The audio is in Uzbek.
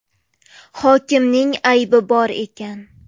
Hokimning aybi bor ekan.